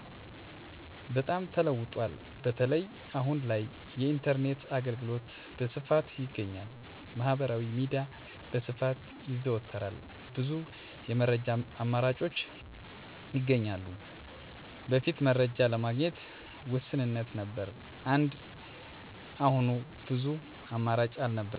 በጣም ተለውጧል፣ በተለይ አሁን ላይ የኢንተርኔት አገልግሎት በስፋት ይገኛል። ማህበራዊ ሚዲያ በስፋት ይዘወተራል፣ ብዙ የመረጃ አማራጮች ይገኛሉ። በፊት መረጃ ለማግኘት ውስንነት ነበር እንደ አሁኑ ብዙ አማራጭ አልነበረም።